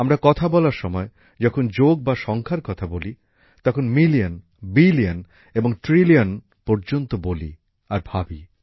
আমরা কথা বলার সময় যখন যোগ বা সংখ্যার কথা বলি তখন মিলিয়ন বিলিয়ন এবং ট্রিলিয়ন পর্যন্ত বলি আর ভাবি